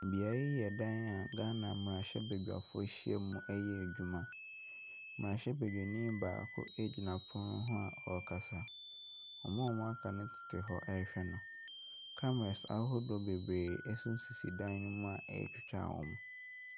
Bea yi yɛ dan a Ghana mmerahyɛbadwafo ahyiam ɛreyɛ adwuma. Mmerahyɛbadwani baako gyina fam hɔ a ɔrekasa. Wɔn a aka no tete hɔ ɛrehwɛ no. Cameras ahofoɔ bebree bi nso sisi dan ne mu a ɛretwitwa wɔn.